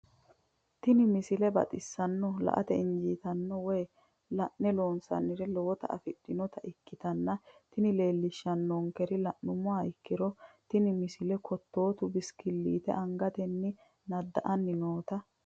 tenne misile baxisannonna la"ate injiitanno woy la'ne ronsannire lowote afidhinota ikkitanna tini leellishshannonkeri la'nummoha ikkiro tini misile kottootu bisikilliite angatenni nadda"anni noota.